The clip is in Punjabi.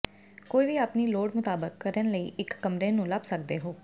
ਕੋਈ ਵੀ ਆਪਣੀ ਲੋੜ ਮੁਤਾਬਕ ਕਰਨ ਲਈ ਇੱਕ ਕਮਰੇ ਨੂੰ ਲੱਭ ਸਕਦੇ ਹੋ